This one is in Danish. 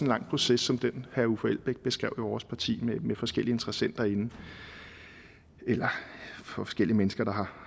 lang proces som den herre uffe elbæk beskrev i vores parti med forskellige interessenter inde eller forskellige mennesker der